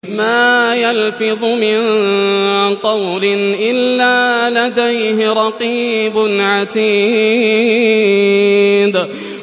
مَّا يَلْفِظُ مِن قَوْلٍ إِلَّا لَدَيْهِ رَقِيبٌ عَتِيدٌ